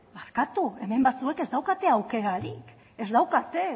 barkatu hemen batzuek ez daukate aukerarik ez daukate